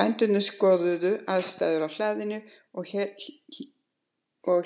Bændurnir skoðuðu aðstæður á hlaðinu og